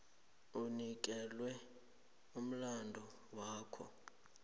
onikelwe umlandu wakho